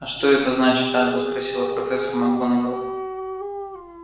а что это значит альбус спросила профессор макгонагалл